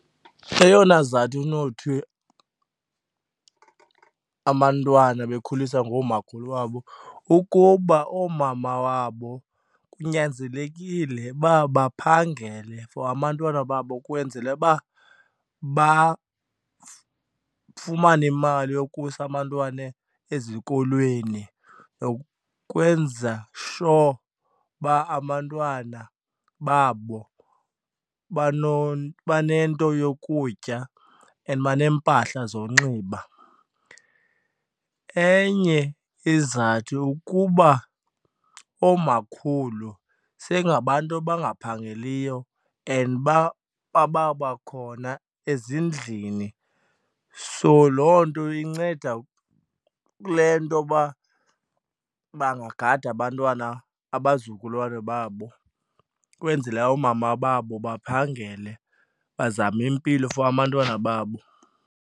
Eyona sizathu unothi abantwana bekhuliswa ngoomakhulu wabo ukuba oomama wabo kunyanzelekile uba baphangele for abantwana babo kwenzela uba bafumane imali yokusa abantwana ezikolweni nokwenza sure uba abantwana babo banento yokutya and baneempahla zonxiba. Enye izizathu ukuba oomakhulu seyingabantu abangaphangeliyo and bababakhona ezindlini, so loo nto inceda kule nto yoba bangagada abantwana, abazukulwana babo kwenzela oomama babo baphangele bazame impilo for abantwana babo.